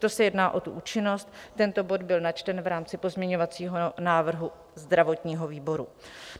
To se jedná o tu účinnost, tento bod byl načten v rámci pozměňovacího návrhu zdravotního výboru.